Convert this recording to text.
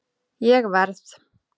Ég verð